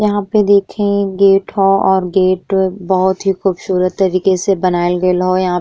यहाँँ पे देखें गेट हौ और गेट बहोत ही खूबसूरत तरीके से बनएल गइल हौ। यहाँँ --